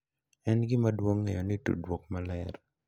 En gima duong’ ng’eyo ni tudruok maler .